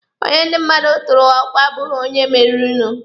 Onye ndi mmadụ tụụrụ ọkwa abụghị onye meririnụ.